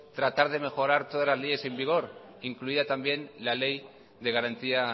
tratar de mejorar todas las leyes en vigor incluida también la ley de garantía